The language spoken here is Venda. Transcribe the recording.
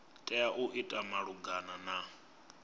tea u ita malugana na